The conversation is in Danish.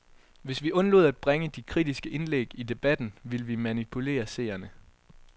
Hvis vi undlod at bringe de kritiske indlæg i debatten, ville vi manipulere seerne.